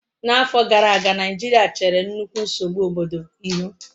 n'afo gara aga, naijiria chere nnukwu nsogbu obodo ihu